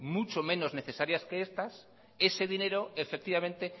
muchos menos necesarias que estas ese dinero efectivamente